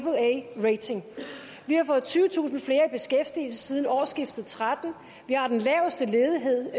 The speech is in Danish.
vi har fået tyvetusind flere i beskæftigelse siden årsskiftet tretten og vi har den laveste ledighed